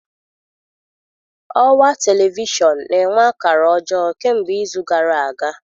Ọwa telivishọn na-enwe akara ọjọọ kemgbe izu gara aga.